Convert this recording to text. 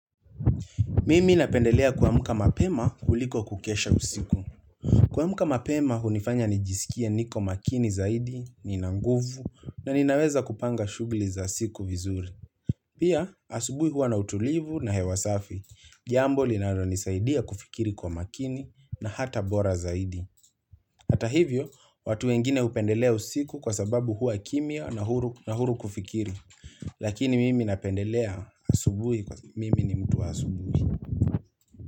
Mimi napendelea kuamuka mapema kuliko kukesha usiku. Kuamuka mapema, hunifanya nijisikia niko makini zaidi, ninanguvu, na ninaweza kupanga shughuli za siku vizuri. Pia, asubui huwa na utulivu na hewasafi. Jambo linalo nisaidia kufikiri kwa makini na hata bora zaidi. Hata hivyo, watu wengine upendelea usiku kwa sababu huwa kimia na huru kufikiri. Lakini mimi napendelea asubui kwa mimi ni mtu wa asubui.